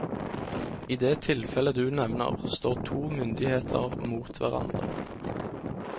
I det tilfellet du nevner, står to myndigheter mot hverandre.